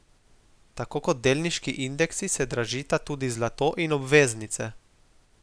Tako kot delniški indeksi, se dražita tudi zlato in obveznice.